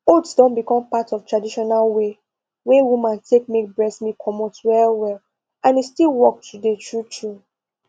oats don become part of traditional way wey women take make breast milk comot well well and e still work today true true